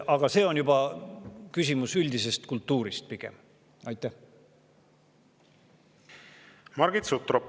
Aga see küsimus pigem üldise kultuuri.